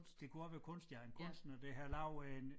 Det kunne også være kunst ja en kunstner der har en